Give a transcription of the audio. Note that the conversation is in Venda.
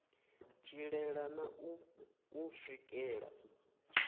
tshilela na u u swikela